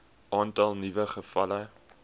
aantal nuwe gevalle